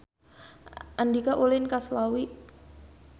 Andika ulin ka Slawi